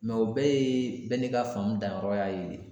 o bɛɛ ye bɛɛ n'i ka famu danyɔrɔ ya ye .